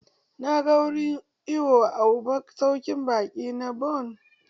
Na ga wurin iwo a masaukin baƙi na bon.